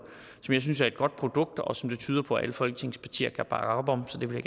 jeg synes er et godt produkt og som det tyder på at alle folketingets partier kan bakke op om så det vil